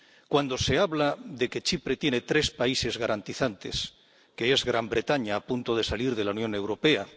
Cuando se habla de que Chipre tiene tres países garantizantes —que son Gran Bretaña, a punto de salir de la Unión Europea